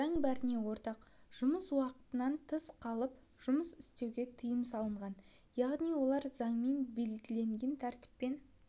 заң бәріне ортақ жұмыс уақытынан тыс қалып жұмыс істеуге тыйым салынған яғни олар заңмен белгіленген тәртіппен